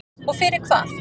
Og fyrir hvað?